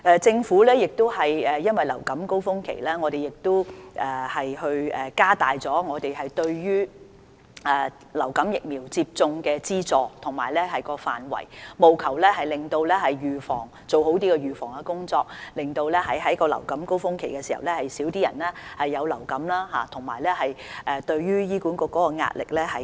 政府亦因應流感高峰期，加大了對於流感疫苗接種的資助及範圍，務求做好預防工作，減少在流感高峰期患上流感的人數，從而減輕醫管局的壓力。